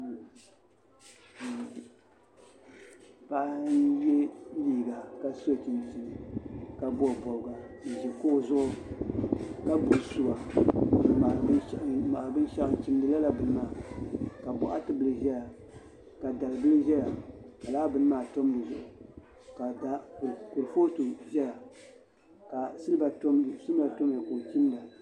Paɣa n yɛ liiga ka so chinchin ka bobi bobga n ʒi kuɣu zuɣu ka gbubi suwa n ŋmahari binshaɣu n chimdi lala bini maa ka boɣati bili ʒɛya ka dalibili ʒɛya ka laa bini maa tam di zuɣu ka kuripooti ʒɛya ka silba tamya ka o chimda